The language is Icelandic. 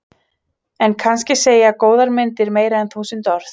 En kannski segja góðar myndir meira en þúsund orð.